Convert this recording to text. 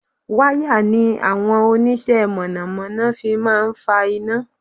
Wire ni àwọn oníṣẹ́ mọ̀nàmọ́ná fi máa ń fa iná